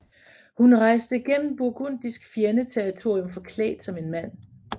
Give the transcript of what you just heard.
Hun rejste gennem burgundisk fjende territorium forklædt som en mand